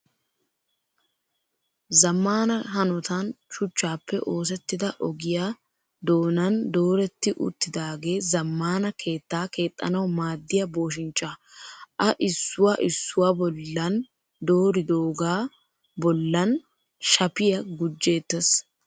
Zammaana hanotan shuchchappe oosettida ogiyaa doonan dooretti uttidaage zammaana keettaa keexxanawu maaddiyaa booshinchchaa. A issuwaa issuwaa bollan dooridooga bollan shapiyaa gujjeettes.